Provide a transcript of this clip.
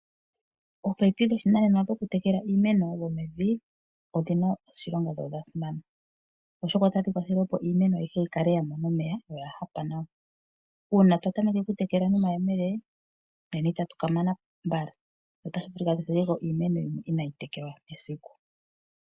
Ominino dhoshinanena dhokutekela iimeno dhopevi odhi na oshilonga dho odha simana , oshoka otadhi kwathele opo iimeno ayihe yi kale ya mona omeya yo oya hapa nawa. Uuna twa tameke okutekela nomayemele, nena itatu ka mana mbala, otashi vulika tu thige ko iimeno yimwe inaayi tekelwa kehe esiku.